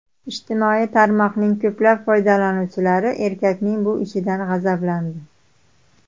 Ijtimoiy tarmoqning ko‘plab foydalanuvchilari erkakning bu ishidan g‘azablandi.